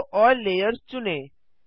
show all layers चुनें